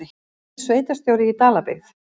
Nýr sveitarstjóri í Dalabyggð